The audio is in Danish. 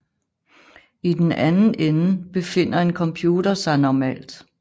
I den anden ende befinder en computer sig normalt